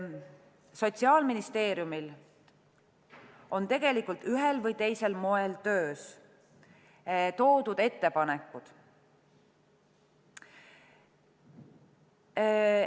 Sotsiaalministeeriumil on tegelikult ühel või teisel moel toodud ettepanekud töös.